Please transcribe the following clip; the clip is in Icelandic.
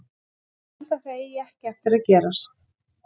Ég held að það eigi ekki eftir að gerast.